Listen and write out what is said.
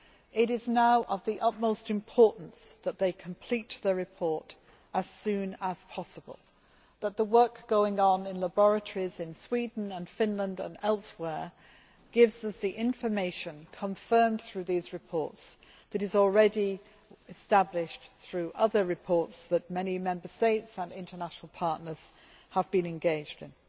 It is now of the utmost importance that they complete their report as soon as possible and that the work going on in laboratories in Sweden, Finland and elsewhere gives us the information, confirmed through these reports, that is already established through other reports that many Member States and international partners have been engaged in.